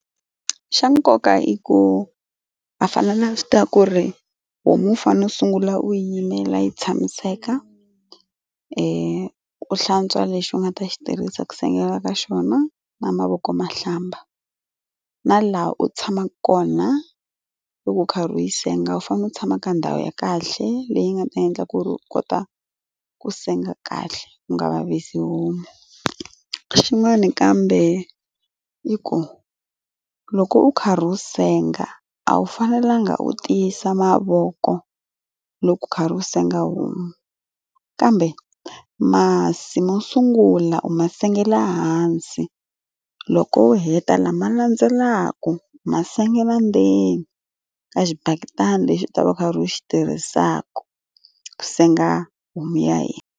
Xa nkoka i ku u fanele a swi tiva ku ri homu u fanele u sungula u yimela yi tshamiseka, u hlantswa lexi u nga ta xi tirhisa ku sengela ka xona na mavoko ma hlamba. Na laha u tshamaka kona loko u karhi u yi senga, u fanele u tshama ka ndhawu ya kahle leyi nga ta endla ku ri u kota ku senga kahle u nga vavisi homu. Xin'wana kambe i ku loko, u karhi u senga, a wu fanelanga u tiyisa mavoko loko u karhi u senga homu. Kambe masi mo sungula u ma sengela hansi, loko u heta lama landzelaka u ma sengela ndzeni ka xibaketani lexi u ta va u karhi u xi tirhisaka ku senga humi ya hina.